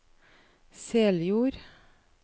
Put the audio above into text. Seljord